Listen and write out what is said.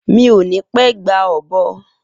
Mi o ni pẹ gba ọ̀bọ